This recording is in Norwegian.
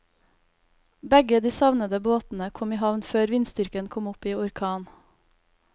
Begge de savnede båtene kom i havn før vindstyrken kom opp i orkan.